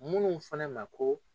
Minnu fana ma ko